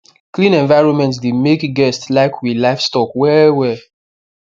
clean environment dey make guest like we livestock well well